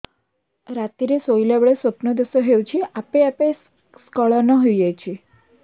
ରାତିରେ ଶୋଇଲା ବେଳେ ସ୍ବପ୍ନ ଦୋଷ ହେଉଛି ଆପେ ଆପେ ସ୍ଖଳନ ହେଇଯାଉଛି